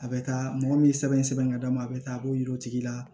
A bɛ taa mɔgɔ min ye sɛbɛn ka d'a ma a bɛ taa a b'o yir'u la